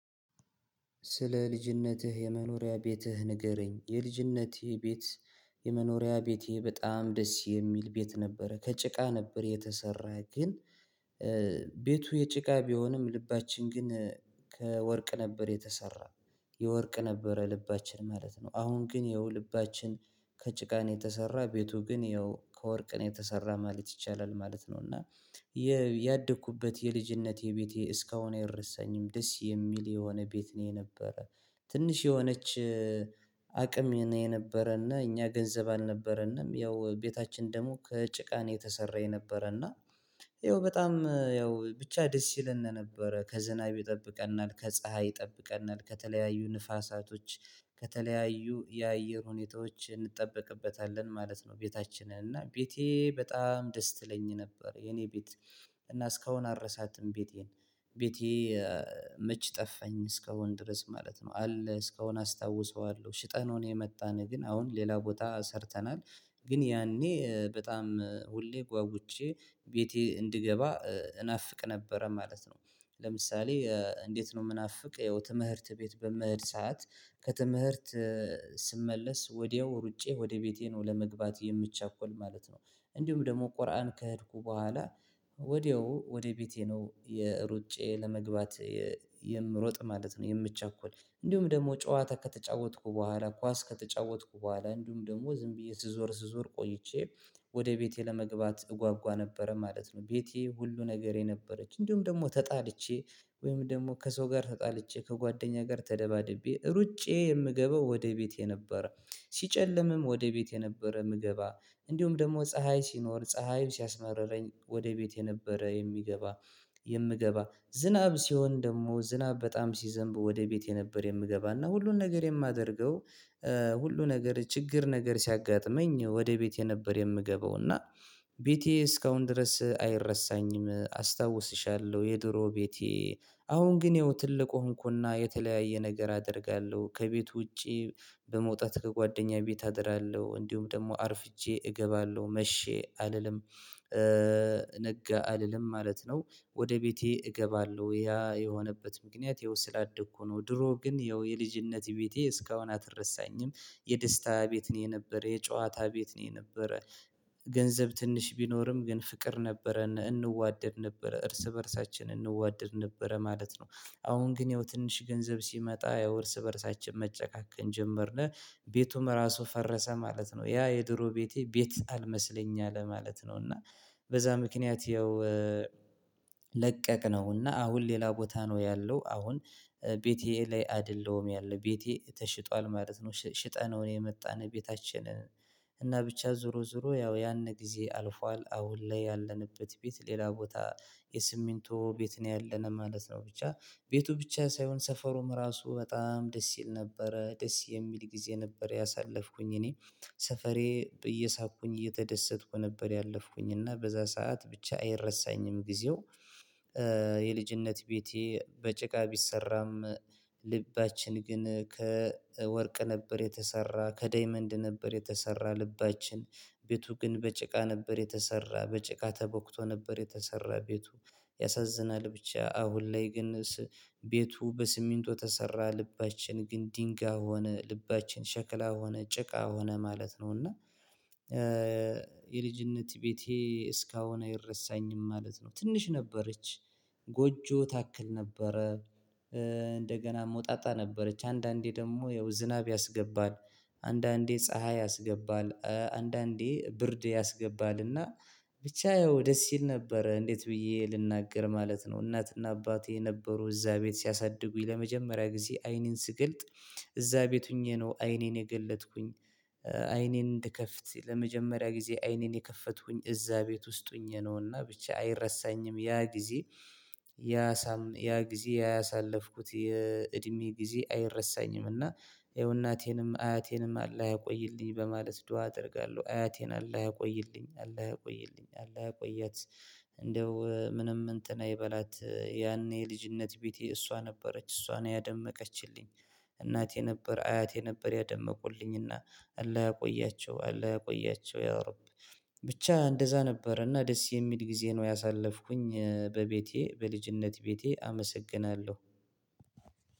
ስለ ልጅነትህ የመኖሪያ ቤትህ ንገረኝ? የልጅነቴ ቤት የመኖሪያ ቤቴ በጣም ደስ የሚል ቤት ነበረ ከጭቃ ነበር የተሰራ ግን ቤቱ የጭቃ ቢሆንም ልባችን ግን ከወርቅ ነበር የተሰራው የወርቅ ነበረ ልባችን ማለት ነው። አሁን ግን ይኸው ልባችን ከጭቃን የተሰራ ቤቱ ግን ይኸው ከወርቅን የተሰራ ማለት ይቻላል ማለት ነው። እና ያደኩበት የልጅነት ቤቴ እስካሁን ያልረሳኝም ደስ የሚል የሆነ ቤት ነው። የነበረ ትንሽ የሆነች አቅም ነው የነበረ እና እኛ ገንዘብ አልነበረንም ያው ቤታችን ደግሞ ከጭቃን የተሰራ የነበረና። ይኸው በጣም ያው ብቻ ደስ ይለን ነበረ ከዝናብ ይጠብቀናል ከፀሀይ ይጠብቀናል ከተለያዩ ነፋሳቶች ከተለያዩ የአየር ሁኔታዎች እንጠብቅበታለን ማለት ነው። ቤታችንን እና ቤቴ በጣም ደስ ትለኝ ነበር የኔ ቤት እና እስካሁን አረሳትም ቤቴን። ቤቴ መች ጠፋኝ እስካሁን ድረስ ማለት ነው። አለ እስከሆን አስታውሰዋለሁ ሽጠን ነው የመጣነው ግን አሁን ሌላ ቦታ ሰርተናል። ግን ያኔ በጣም ሁሌ ጓጉቼ ቤቴ እንድገባ እናፍቅ ነበረ ማለት ነው። ለምሳሌ እንዴት ነው ምናፍቅ ያው ትምህርት ቤት በምህርት ሰዓት ከትምህርት ስመለስ ወዲያው ሩጬ ወደ ቤቴ ነው ለመግባት የምቻኮል ማለት ነው። እንዲሁም ደግሞ ቁርአን ከሄድኩ በኋላ ወዲያው ወደ ቤቴ ነው የሩጬ ለመግባት። የምሮጥ ማለት ነው የምቸኩል እንዲሁም ደግሞ ጨዋታ ከተጫወትኩ በኋላ ኳስ ከተጫወትኩ በኋላ እንዲሁም ደግሞ ዝም ብዬ ስዞር ስዞር ቆይቼ ወደ ቤቴ ለመግባት እጓጓ ነበረ ማለት ነው። ቤቴ ሁሉ ነገሬ ነበረች እንዲሁም ደግሞ ተጣልቼ ወይም ደግሞ ከሰው ጋር ተጣልቼ ከጓደኛ ጋር ተደባድቤ ሩጬ የምገባው ወደ ቤቴ ነበረ። ሲጨልምም ወደ ቤት ነበረ ምግባ እንዲሁም ደግሞ ፀሀይ ሲኖር ፀሀይም ሲያስመርረኝ ወደ ቤቴ ነበረ የሚገባ። የምገባ ዝናብ ሲሆን ደግሞ ዝናብ በጣም ሲዘንብ ወደ ቤቴ የነበረ የምገባና ሁሉን ነገር የማደርገው። ሁሉ ነገር ችግር ነገር ሲያጋጥመኝ ወደ ቤቴ ነበር የምገባው እና ቤቴ እስካሁን ድረስ አይረሳኝም። አስታውስሻለሁ የድሮ ቤቴ አሁን ግን ይኸው ትልቅ ሆንኩና የተለያየ ነገር አደርጋለሁ ከቤቱ ውጪ በመውጣት ከጓደኛዬ ቤት አደራለሁ እንዲሁም ደግሞ አርፍጄ እገባለሁ መሼ አልልም ነጋ አልልም ማለት ነው። ወደ ቤቴ እገባለሁ ያ የሆነበት ምክንያት እዛው ስላደግኩ ነው። ድሮ ግን ያው የልጅነቴ ቤቴ እስካሁን አትረሳኝም የደስታ ቤት ነው የነበረ የጨዋታ ቤት ነው የነበረ። ገንዘብ ትንሽ ቢኖርም ግን ፍቅር ነበረ እንዋደድ ነበረ እርስ በእርሳችን እንዋደድ ነበረ ማለት ነው። አሁን ግን ያው ትንሽ ገንዘብ ሲመጣ ያው እርስ በእርሳችን መጨካከን ጀመርን። ቤቱም ራሱ ፈረሰ ማለት ነው ያ የድሮ ቤቴ ቤት አልመሰለኝም ማለት ነው። እና በዛ ምክንያት ያው ለቀቅነውና አሁን ሌላ ቦታ ነው ያለው። አሁን ቤቴ ላይ አይደለሁም ያለው ቤቴ ተሽጧል ማለት ነው። ሽጠነው የመጣን ቤታችንን እና ብቻ ዞሮ ዞሮ ያው ያንን ጊዜ አልፏል አሁን ላይ ያለንበት ቤት ሌላ ቦታ የስሚንቶ ቤት ነው ያለነው ማለት ነው። ብቻ ቤቱ ብቻ ሳይሆን ሰፈሩም ራሱ በጣም ደስ ይል ነበረ ደስ የሚል ጊዜ ነበር ያሳለፍኩኝ እኔ። ሰፈሬ እየሳቅኩኝ እየተደሰትኩ ነበር ያለፍኩኝ እና በዛ ሰዓት ብቻ አይረሳኝም ጊዜው። የልጅነት ቤቴ በጭቃ ቢሰራም ልባችን ግን ከወርቅ ነበር የተሰራ ከዳይመንድ ነበር የተሰራ ልባችን። ቤቱ ግን በጭቃ ነበር የተሰራ በጭቃ ተቦክቶ ነበር የተሰራ ቤቱ። ያሳዝናል ብቻ አሁን ላይ ግን ቤቱ በስሚንቶ ተሰራ ልባችን ግን ድንጋይ ሆነ ልባችን ሸክላ ሆነ ጭቃ ሆነ ማለት ነው። እና የልጅነት ቤቴ እስካሁን ይረሳኝም ማለት ነው። ትንሽ ነበረች ጎጆ ታክል ነበረ። እንደገና ሞጣጣ ነበረች አንዳንዴ ደግሞ ያው ዝናብ ያስገባል አንዳንዴ ፀሀይ ያስገባል አንዳንዴ ብርድ ያስገባልና። ብቻ ያው ደስ ይል ነበረ እንዴት ብዬ ልናገር ማለት ነው። እናትና አባቴ የነበሩ እዛ ቤት ሲያሳድጉኝ ለመጀመሪያ ጊዜ አይንን ስገልጥ እዛ ቤት ሆኜ ነው አይኔን የገለጥኩኝ። አይኔን እንድከፍት ለመጀመሪያ ጊዜ አይኔን የከፈትኩኝ እዛ ቤት ውስጥ ሆኘ ነውና ብቻ አይረሳኝም ያ ጊዜ። ያ ያ ጊዜ ያ ያሳለፍኩት የእድሜ ጊዜ አይረሳኝም። እና ይኸው እናቴንም አያቴንም አላ ያቆይልኝ በማለት ዱአ አደርጋለሁ። አያቴን አላ ያቆይልኝ አለ ያቆይልኝ አለ እቆያት። እንደው ምንም እንትን አይበላት ያኔ የልጅነት ቤቴ እሷ ነበረች እሷን ያደመቀችልኝ እናቴ ነበር አያቴ ነበር ያደመቁልኝና። አላ ያቆያቸው አላ ያቆያቸው ያው አሮፕ። ብቻ እንደዛ ነበር እና ደስ የሚል ጊዜ ነው ያሳለፍኩኝ በቤቴ በልጅነት ቤቴ አመሰግናለሁ።